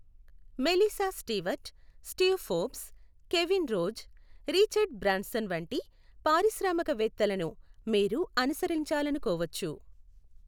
Melissa Stewart, Steve Forbes, Kevin Rose, Richard Branson వంటి పారిశ్రామికవేత్తలను మీరు అనుసరించాలనుకోవచ్చు.